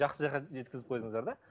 жақсы жаққа жеткізіп қойдыңыздар да